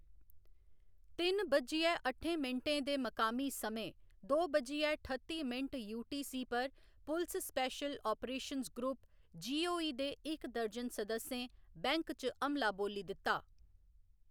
ति'न्न बज्जियै अट्ठें मिंटें दे मकामी समें, दो बज्जियै ठत्ती मिंट यूटीसी पर पुलस स्पेशल अपरेशंस ग्रुप, जीओई दे इक दर्जन सदस्यें बैंक च हमला बोल्ली दित्ता।